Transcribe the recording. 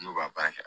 N'u b'a baara kɛ